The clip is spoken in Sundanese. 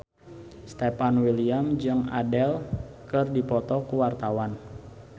Stefan William jeung Adele keur dipoto ku wartawan